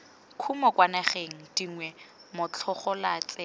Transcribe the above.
kumo kwa dinageng dingwe motlhagolatsela